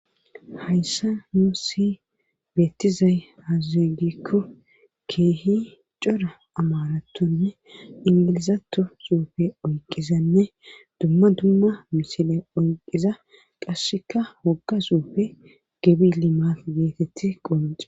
hayssa nuusi beettizay aaze gikko keehi cora amarattonne ingilizato suufe oyqizanne dumma dumma misile oyqiza qasseka wogga suufe gebi limaf geetetti qomaci